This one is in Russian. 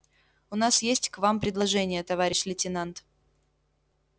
у нас есть к вам предложение товарищ лейтенант